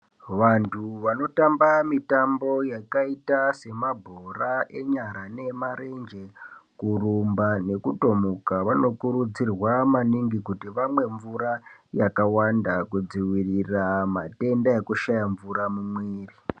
Vantu vanotamba mitambo yakaita semabhora enyara ,nemarenje ,kurumba nekutomuka vanokurudzirwa maningi kuti vamwe mvura yakawanda maningi kudzivirira matenda ekushaya mvura mumwiiri.